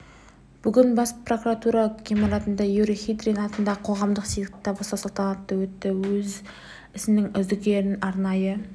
бүгін бас прокуратура ғимаратында юрий хитрин атындағы қоғамдық сыйлықты табыстау салтанаты өтті өз ісінің үздіктерін арнайы